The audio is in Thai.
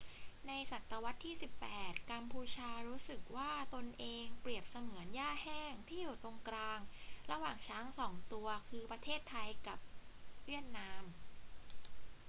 ในศตวรรษที่ 18 กัมพูชารู้สึกว่าตนเองเปรียบเสมือนหญ้าแห้งที่อยู่ตรงกลางระหว่างช้างสองตัว คือ ประเทศไทยกับเวียดนาม